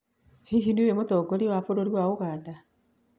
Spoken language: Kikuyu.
Hihi nĩ ũĩ mũtongoria wa bũrũri wa Uganda?